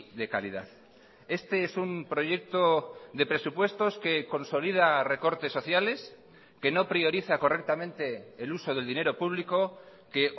de calidad este es un proyecto de presupuestos que consolida recortes sociales que no prioriza correctamente el uso del dinero público que